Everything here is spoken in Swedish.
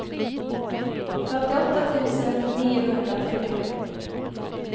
fyrtioåtta tusen niohundratrettiosju